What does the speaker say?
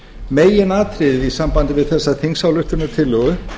meginatriðið í sambandi við þessa þingsályktunartillögu